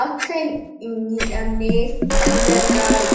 akka hin miidhamneef kan gargaarudha.